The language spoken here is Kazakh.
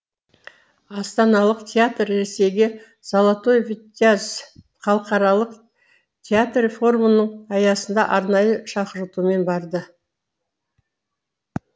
астаналық театр ресейге золотой витязь халықаралық театр форумының аясында арнайы шақыртумен барды